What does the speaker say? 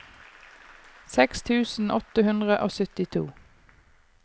seks tusen åtte hundre og syttito